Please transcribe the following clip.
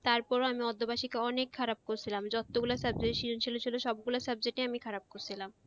তারপরও আমি আমি অনেক খারাপ করছিলাম যতগুলা subject ছিলো আমি সব subject এ খারাপ করছিলাম